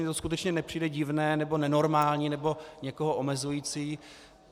Mně to skutečně nepřijde divné nebo nenormální nebo někoho omezující.